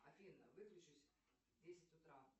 афина выключись в десять утра